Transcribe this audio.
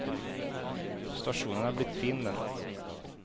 Stasjonen er blitt fin, den.